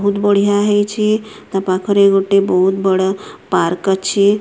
ବହୁତ ବଢିଆ ହେଇଛି ତା ପାଖରେ ଗୋଟେ ବହୁତ ବଡ଼ ପାର୍କ ଅଛି।